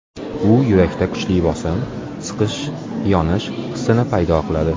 U yurakda kuchli bosim, siqish, yonish hissini paydo qiladi.